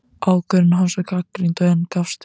Ákvörðun hans var gagnrýnd, en gafst vel.